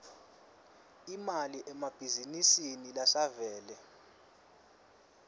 imali emabhizinisini lasavele